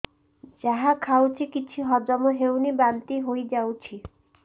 ଯାହା ଖାଉଛି କିଛି ହଜମ ହେଉନି ବାନ୍ତି ହୋଇଯାଉଛି